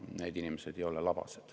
Need inimesed ei ole labased.